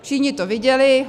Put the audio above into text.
Všichni to viděli.